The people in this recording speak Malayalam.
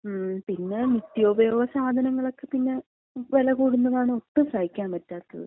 ങ്ങും, പിന്നെ നിത്യോപയോഗ സാധനങ്ങളൊക്ക പിന്നെ വില കൂടുന്നതാണ് ഒട്ടും സഹിക്കാമ്പറ്റാത്തത്.